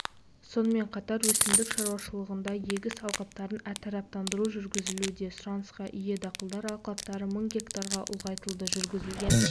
сонымен қатар өсімдік шаруашылығында егіс алқаптарын әртараптандыру жүргізілуде сұранысқа ие дақылдар алқаптары мың гектарға ұлғайтылды жүргізілген